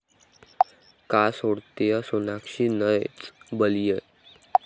का सोडतेय सोनाक्षी 'नच बलिए'?